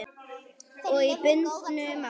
Og í bundnu máli